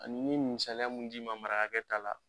Ani n ye musaliya mun di ma marakakɛ ta la